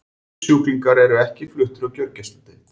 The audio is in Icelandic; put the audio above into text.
Þessir sjúklingar eru ekki fluttir á gjörgæsludeild.